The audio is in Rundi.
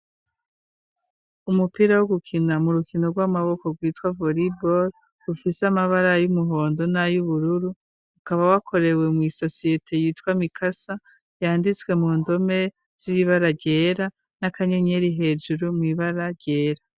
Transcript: Umupira wo gukina mu rukino rw'amaboko rwitwa vollyball ufise amabara y'umuhondo n'ay'ubururu .Ukaba wakorewe mu isosiyete yitwa mikasa yanditswe mu ndome z'ibara ryera n'akanyenyeri hejuru mu ibara ryera.